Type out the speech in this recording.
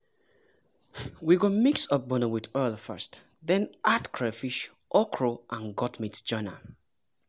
we go mix ogbono with oil first then add crayfish okra and goat meat join am.